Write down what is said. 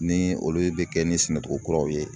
Ni olu bɛ kɛ ni sɛnɛcogo kuraw ye